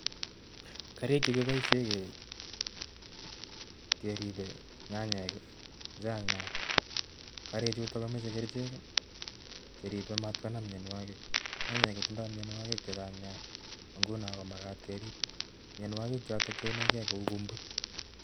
Karik chekiboisien keribe nyanyek kochang' nia; karik chuto komache kerichek cheribe mat konam myonwogik. Nyanyek kotindo myonwogik chechang' nia nguno komakat kerib myonwogik choton cheinege kou.